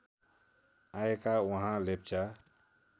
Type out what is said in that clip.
आएका उहाँ लेप्चा